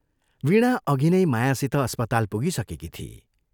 वीणा अघि नै मायासित अस्पताल पुगिसकेकी थिई।